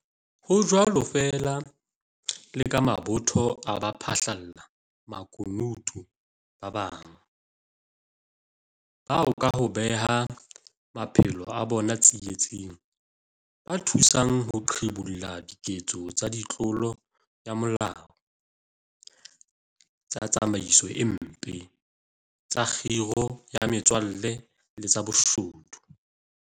Ho jwalo feela le ka mabotho a baphahla makunutu ba bang, bao ka ho beha maphelo a bona tsie-tsing, ba thusang ho qhibolla diketso tsa ditlolo ya molao, tsa tsamaiso e mpe, tsa khiro ya metswalle le tsa boshodu.